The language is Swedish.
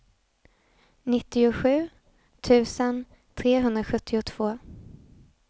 nittiosju tusen trehundrasjuttiotvå